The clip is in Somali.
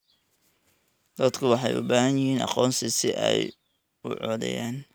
Dadku waxay u baahan yihiin aqoonsi si ay u codeeyaan.